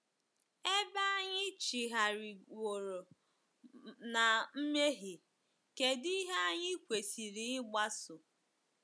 Ebe anyị chigharịworo ná mmehie, kedụ ihe anyị kwesịrị ịgbaso?